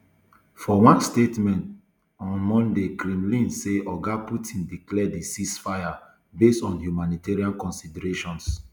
for one statement um on monday kremlin say oga putin declare di ceasefire based on humanitarian considerations